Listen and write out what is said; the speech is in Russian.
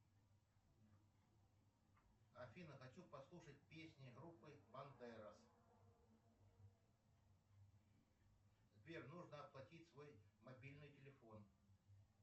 афина хочу послушать песни группы бандерос сбер нужно оплатить свой мобильный телефон